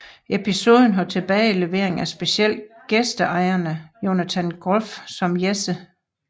Episoden har tilbagelevering af special gæstestjerne Jonathan Groff som Jesse St